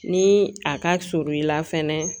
Ni a ka surun i la fɛnɛ